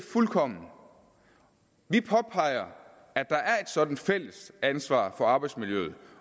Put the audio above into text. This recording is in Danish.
fuldkommen vi påpeger at der er et sådant fælles ansvar for arbejdsmiljøet